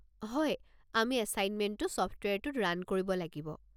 হয়, আমি এছাইনমেণ্টটো ছফ্টৱেৰটোত ৰান কৰিব লাগিব।